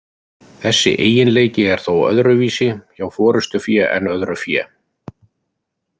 Þessi eiginleiki er þó öðruvísi hjá forystufé en öðru fé.